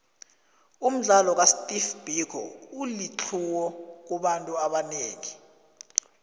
umdlalo ka steve biko ulitlhuwo kubantu abanengi